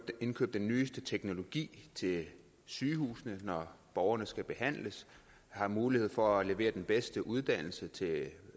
indkøbe den nyeste teknologi til sygehusene når borgerne skal behandles har mulighed for at levere den bedste uddannelse til